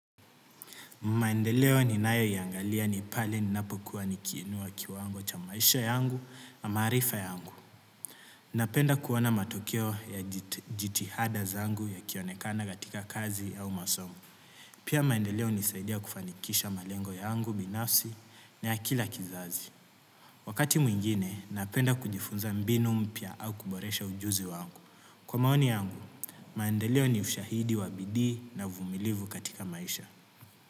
Maendeleo ni nayo yangalia ni pale ninapokuwa nikiinua kiwango cha maisha yangu na maarifa yangu. Napenda kuona matokeo ya jitihada zangu ya kionekana gatika kazi au masomo. Pia maendeleo nisaidia kufanikisha malengo yangu, binafsi, na ya kila kizazi. Wakati mwingine napenda kujifunza mbinu mpya au kuboresha ujuzi wangu. Kwa maoni yangu, maendeleo ni ushahidi wabidii na vumilivu katika maisha.